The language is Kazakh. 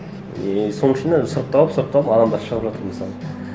и соның ішінен сұрыпталып сұрыпталып адамдар шығып жатыр мысалы